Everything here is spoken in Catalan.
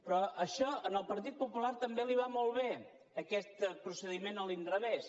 però això al partit popular també li va molt bé aquest procediment a l’inrevés